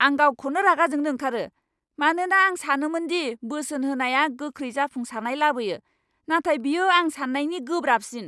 आं गावखौनो रागा जोंनो ओंखारो, मानोना आं सानोमोन दि बोसोन होनाया गोख्रै जाफुंसारनाय लाबोयो, नाथाय बेयो आं सान्नायनि गोब्राबसिन!